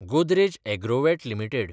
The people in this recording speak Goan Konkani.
Godrej Agrovet limited